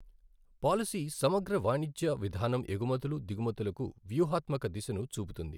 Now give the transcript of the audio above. Policy సమగ్ర వాణిజ్య విధానం ఎగుమతులు, దిగుమతులకు వ్యూహాత్మక దిశను చూపుతుంది.